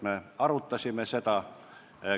Me arutasime seda.